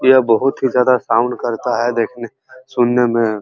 ये बहोत ही ज्यादा साउंड करता है। देखने सुनने में।